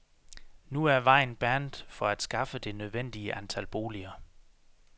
Nu er vejen er banet for at skaffe det nødvendige antal boliger.